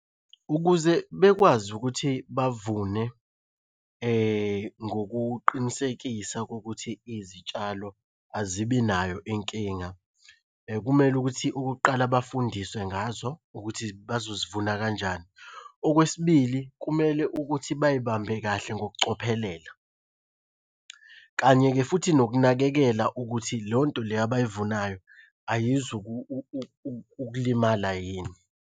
Ukuze bekwazi ukuthi bavune ngokuqinisekisa kokuthi izitshalo azibi nayo inkinga. Kumele ukuthi okokuqala bafundiswe ngazo ukuthi bazozivuna kanjani. Okwesibili kumele ukuthi bayibambe kahle ngokucophelela. Kanye-ke futhi nokunakekela ukuthi leyo nto leyo abayivunayo ayizu ukulimala yini.